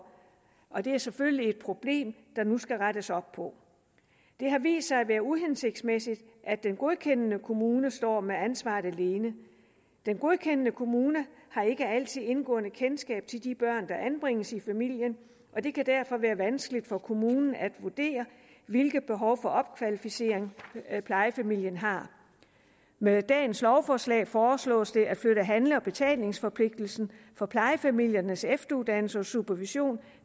og det er selvfølgelig et problem der nu skal rettes op på det har vist sig at være uhensigtsmæssigt at den godkendende kommune står med ansvaret alene den godkendende kommune har ikke altid indgående kendskab til de børn der anbringes i familien og det kan derfor være vanskeligt for kommunen at vurdere hvilke behov for opkvalificering plejefamilien har med dagens lovforslag foreslås det at flytte handle og betalingsforpligtelsen for plejefamiliernes efteruddannelse og supervision